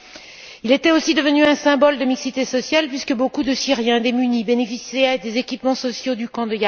Yarmouk était aussi devenu un symbole de mixité sociale, puisque beaucoup de Syriens démunis bénéficiaient des équipements sociaux du camp.